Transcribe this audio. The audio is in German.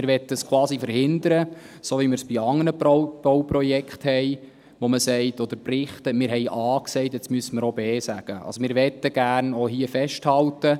Wir möchten quasi verhindern – so, wie wir es bei anderen Bauprojekten oder Berichten getan haben, bei denen man sagt: «Wir haben A gesagt, jetzt müssen wir auch B sagen» … Wir möchten also auch hier gerne festhalten: